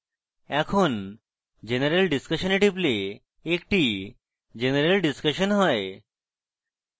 এখন general discussion we টিপলে একটি general discussion হয়